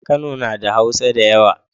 Kano nada hausa dayawa